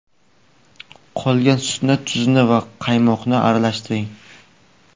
Qolgan sutni, tuzni va qaymoqni aralashtiring.